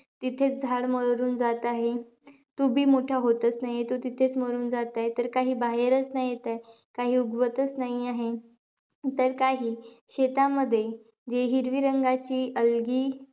तिथेचं झाड मरून जात आहे. तो बी मोठा होताचं नाहीये, तो तिथेचं मारून जात आहे. तर काही, बाहेरचं नाही येते. काही उगवतचं नाही आहे. तर काही शेतामध्ये, जे हिरवी रंगाची algae,